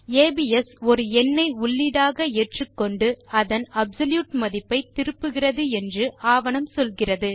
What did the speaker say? ABS ஒரு எண்ணை உள்ளீடாக ஏற்றுக்கொண்டு அதன் அப்சொல்யூட் மதிப்பை திருப்புகிறது என்று அதன் ஆவணம் சொல்லுகிறது